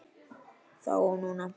Þá og núna.